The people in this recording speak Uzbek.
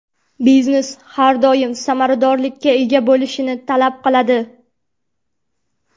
Biznes har doim samaradorlikka ega bo‘lishni talab qiladi.